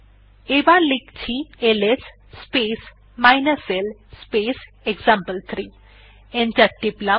এবার লিখছি LS space l space example three enter টিপলাম